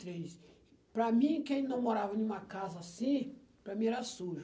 três. Para mim, quem não morava em uma casa assim, para mim era sujo.